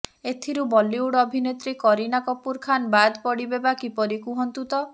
ଏଥିରୁ ବଲିଉଡ୍ ଅଭିନେତ୍ରୀ କରୀନା କପୁର ଖାନ୍ ବାଦ୍ ପଡ଼ିବେ ବା କିପରି କୁହନ୍ତୁ ତ